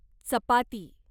चपाती